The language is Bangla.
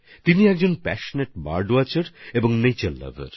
তিনি একজন উৎসাহী পক্ষীপর্যবেক্ষক আর প্রকৃতি প্রেমী